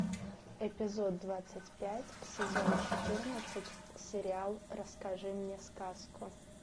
эпизод двадцать пять сезон четырнадцать сериал расскажи мне сказку